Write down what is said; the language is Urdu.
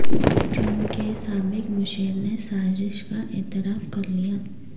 ٹرمپ کے سابق مشیر نے سازش کا اعتراف کرلیا